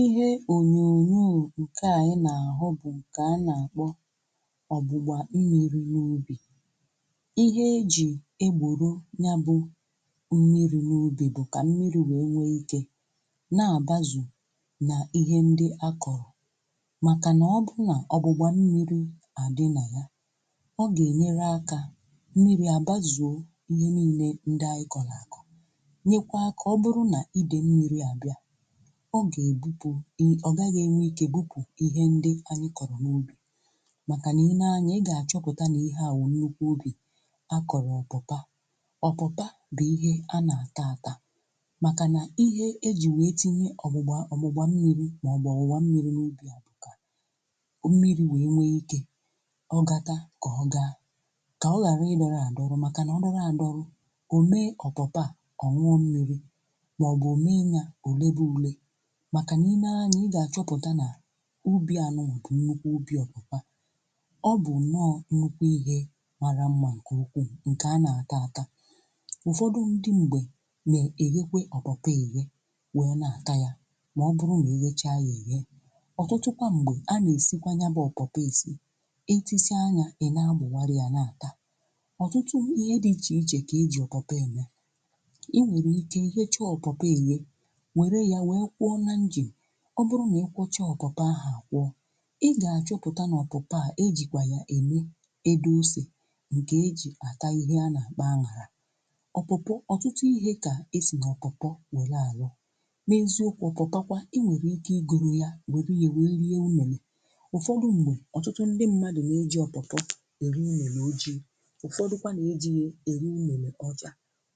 Ihe onyonyo urù ukè à, ihe n’ahọ̀ bụ̀ ǹkè a na-akpọ̀ ọ̀gbụgbà mmiri n’ubì. Ihe e jì egbòro nya bụ̀ mmiri n’ubì, bụ̀ ka mmiri̇ wee nwee ike na-abazù n’ihe ndị akọ̀rọ̀. Màkà nà ọ bụrụ nà ọ̀gbụgbà mmiri à dị nà ya, ọ gà-enyere akà mmiri àbazùo ihe niile ndị à ikọ̀là àkọ̀, nyekwà akà um Ọ bụrụ nà ide mmiri à bịà, ọ gà-ebupụ̀ ya, ọ gaghị̀ enwe ike bupù ihe ndị anyị kọrọ̀ n’ubì. Màkà nà i néé anya, ị ga-achọpụ̀tà na ihe awụ̀ nnukwu ubì a kọrọ̀, ọpụ̀pà ọpụ̀pà bụ̀ ihe a na-ata atà um Màkà nà ihe eji wee tinye ọ̀gbụgbà mmiri maọ̀bụ̀ ọ̀wụ̀wa mmiri n’ubì abụkà mmiri, wee nwee ike ọ̀gàka ka ọ gaara ị dọrọ̀ adọrọ̀... Màkà nà ọ dọrọ̀ adọrọ̀, o mèé ọ̀pọ̀pà ọṅụṅụ mmiri, màkà nà-eme anya. Ị gà-achọpụ̀ta nà ubì ànụmà bụ̀ nnukwu ubì ọpụ̀kpà, ọ bụ̀ nnọọ̇ nnukwu ihe mara mma, nke ukwu um Ǹkè a na-àta atà, ụ̀fọdụ ndị mgbe mèé, èghekwè ọ̀bọ̀pọ̀ èghe, wee na-àta ya, maọ̀bụ̀rụ̀ na-eghecha ya èghe. Ọ̀tụtụkwa m̀gbè a na-èsikwa ya bụ̀ ọ̀pọ̀pọ̀ èsí etisị anyȧ, ị̀ na-agbà warù ya n’àta. Ọ̀tụtụ ihe dị iche iche kà e ji ọ̀pọ̀pọ̀ ème um Ị nwèrè ike gèchá ọ̀pọ̀pọ̀ ehe. Ọ bụrụ̀ nà ị kpọchà ọkụtà aha kwọ, ị ga-achọpụ̀tà n’ọkụtà e jikwà yà mee edosè, nke e ji akà... Ihe a na-akpà añàlà ọkụtụ̀, ọtụtụ ihe kà ezì na ọkụkọ̀ wèlà alọ̀, na-ezukwà ọkụtà. Kwa, i nwere ike igoro yà, gweri ya, wee nye umèlè. Ụ̀fọdụ̀ ndị̀ mmadụ̀ na-eji ọkụtụ̀ eru umèlè, ọ jikwa ụfọdụ̀kwa na-eji e e ri umèlè ọjà,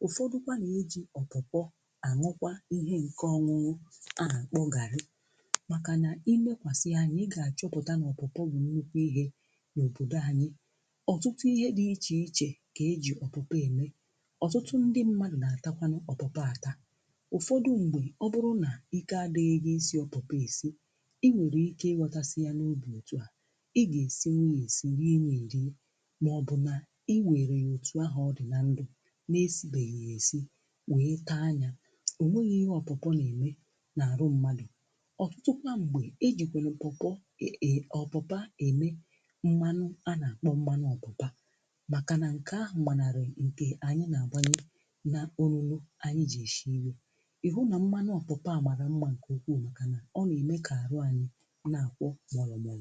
ụfọdụ̀kwa na-eji ọkụtụ̀ kwa ihe nke ọṅụṅụ. Màkà nà imekwàsi anyị̀, ị gà-achọpụ̀tà n’ọpụ̀pụ̀ bụ̀ n’ukwu ihe n’òbòdò anyị̀... Ụ̀tụtụ ihe dị̀ iche iche kà e jì ọ̀pụ̀pụ̀ eme. Ụ̀fọdụ̀ ndị mmadụ̀ na-àtakwanụ ọ̀pụ̀pụ̀ àtà, ụ̀fọdụ mgbè ọ bụrụ nà ike adịghị isi ọpụ̀pụ̀ esi um Ị nwèrè ike inweta ya na ubù, otu à i gà-èsi nweghi èsì, rie, enye rie. Màọ̀bụ̀ nà i nwèrè ya otu ahụ̀, ọrị̀ nà ndụ̀ na-esighị èsì wee taa anyȧ. Ụ̀tụtụ kpam̀gbè e jìkwèrè mpụ̀pụ̀, e ji ọpụ̀pà ème mmanụ, a nà-àkpọ mmanụ ọpụ̀pà. Màkà nà ǹkè ahụ̀ mmanàrà ǹkè um anyị̀ nà-àgbanye nà ọrụ̇lu ànyị. Jèshi iru̇, ị hụ nà mmanụ ọpụ̀pà àmàrà mmȧ, ǹkè okwuù, màkà nà ọ nà-ème kà àrụ anyị̀ nà-àkpọ mọọlụmȧ.